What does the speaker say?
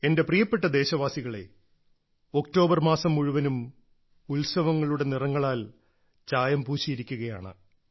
എന്റെ പ്രിയപ്പെട്ട ദേശവാസികളേ ഒക്ടോബർ മാസം മുഴുവനും ഉത്സവങ്ങളുടെ നിറങ്ങളാൽ ചായം പൂശിയിരിക്കുകയാണ്